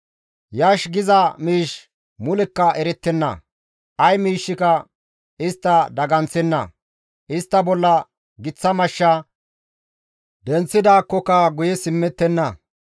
Yash giza miish mulekka erettenna; ay miishshika istta daganththenna; istta bolla giththa mashsha; denththidaakkoka guye simmettenna.